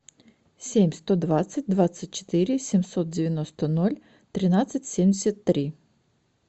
семь сто двадцать двадцать четыре семьсот девяносто ноль тринадцать семьдесят три